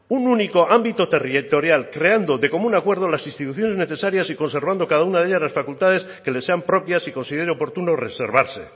un único ámbito territorial creando de común acuerdo las instituciones necesarias y conservando cada una de ellas las facultades que le sean propias y considere oportuno reservarse